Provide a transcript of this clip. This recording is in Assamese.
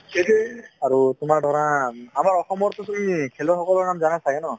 সেইটোৱে আৰু তোমাৰ ধৰা আমৰ অসমৰ টো তুমি খেলুৱৈ সকলৰ নাম জানা চাগে ন